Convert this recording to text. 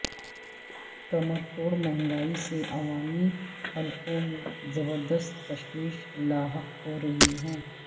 کمر توڑ مہنگائی سے عوامی حلقوں میں زبردست تشویش لاحق ہورہی ہے